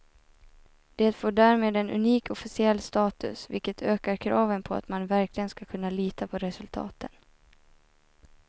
Det får därmed en unik officiell status, vilket ökar kraven på att man verkligen ska kunna lita på resultaten.